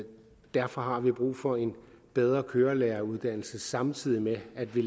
derfor har vi brug for en bedre kørelæreruddannelse samtidig med at vi